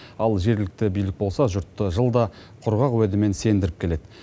ал жергілікті билік болса жұртты жылда құрғақ уәдемен сендіріп келеді